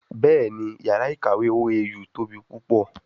Bẹ́ẹ̀ni, yàrá ìkàwé OAU tóbi púpọ̀